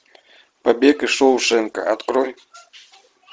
побег из шоушенка открой